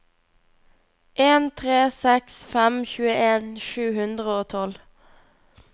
en tre seks fem tjueen sju hundre og tolv